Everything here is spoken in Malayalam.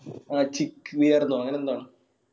ആ chick wear ന്നോ അങ്ങനെ എന്തോ ആണ്.